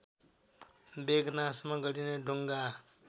बेगनासमा गरिने डुङगा